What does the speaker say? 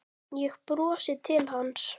Ég brosi til hans.